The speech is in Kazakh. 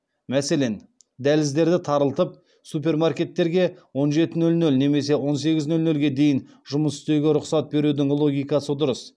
мәселен дәліздерді тарылтып супермаркеттерге он жеті нөл нөл немесе он сегіз нөл нөлге дейін жұмыс істеуге рұқсат берудің логикасы дұрыс